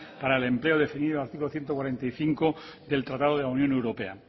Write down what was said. para el empleo definido en el artículo ciento cuarenta y cinco del tratado de la unión europea